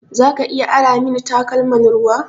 Zaka iya ara min takalman ruwa?